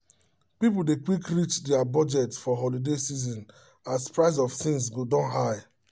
people dey quick reach their budget for holiday season as price of things go don high